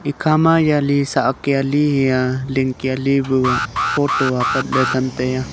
ekha ma yali sahkiali hia lingkia li bu photo apatley themtaiya.